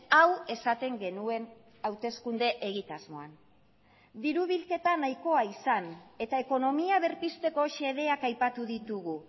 hau esaten genuen hauteskunde egitasmoan diru bilketa nahikoa izan eta ekonomia berpizteko xedeak aipatu ditugu